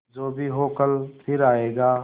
जो भी हो कल फिर आएगा